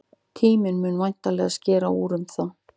Tíminn mun væntanlega skera úr því.